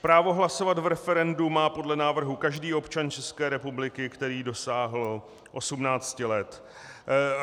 Právo hlasovat v referendu má podle návrhu každý občan České republiky, který dosáhl 18 let.